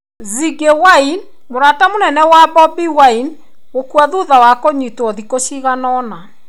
Ziggy Wine: mũrata mũnene wa Bobi Wine gũkua thutha wa kũnyitwo thikũ ciganona.